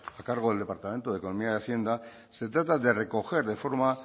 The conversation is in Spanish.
a cargo del departamento de economía y hacienda se trata de recoger de forma